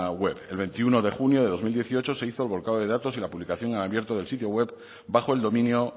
web el veintiuno de junio de dos mil dieciocho se hizo el volcado de datos y la publicación en abierto del sitio web bajo el dominio